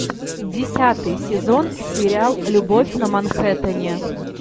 десятый сезон сериал любовь на манхэттене